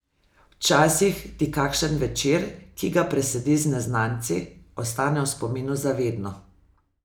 Včasih ti kakšen večer, ki ga presediš z neznanci, ostane v spominu za vedno.